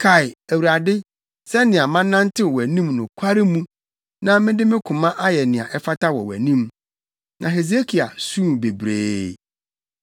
“Kae, Awurade, sɛnea manantew wʼanim nokware mu na mede me koma ayɛ nea ɛfata wɔ wʼanim.” Na Hesekia suu bebree.